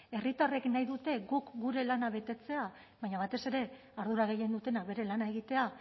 herritarrek nahi dute guk gure lana betetzea baina batez ere ardura gehien dutenak bere lana egitea